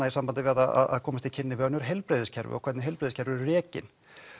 í sambandi við að komast í kynni við önnur heilbrigðiskerfi og hvernig heilbrigðiskerfi eru rekin